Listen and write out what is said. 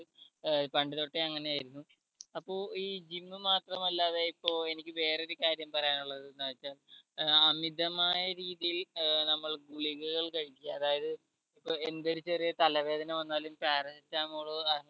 ഏർ പണ്ട് തൊട്ടേ അങ്ങനെ ആയിരുന്നു അപ്പോ ഈ gym മാത്രമല്ലാതെ ഇപ്പൊ എനിക്ക് വേറെ ഒരു കാര്യം പറയാനുള്ളത് എന്നെച്ച അമിതമായ രീതിയിൽ ഏർ നമ്മൾ ഗുളികകകൾ കഴിക്ക അതായത് ഇപ്പൊ എന്തൊരു ചെറിയ തലവേദന വന്നാലും paracetamol